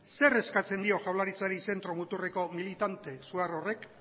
zer eskatzen dio jaurlaritzarik zentro muturreko militante horrek